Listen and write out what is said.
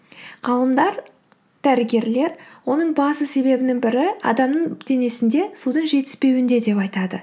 ғалымдар дәрігерлер оның басты себебінің бірі адамның денесінде судың жетіспеуінде деп айтады